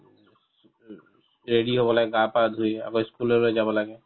ready হ'ব লাগে গা পা ধুই আকৌ ই school লৈ যাব লাগে